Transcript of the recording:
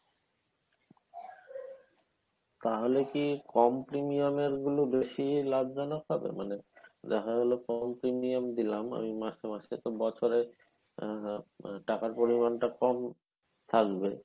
তাহলে কী কম premium এর গুলো বেশি লাগবে না মানে দেখা গেলো কম premium দিলাম আমি মাসে মাসে তো বছরে আহ টাকার পরিমানটা কম থাকবে।